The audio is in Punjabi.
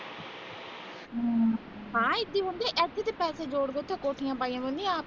ਹਾਂ ਏਦੇ ਉਚੇ ਪੈਸੇ ਜੋੜ ਜੋੜ ਕ ਕੋਠੀਆਂ ਪਾਈਆਂ ਹੁਣੀਆਂ